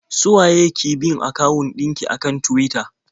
Su waye ki bin akawun ɗin ki a kan Tuwita?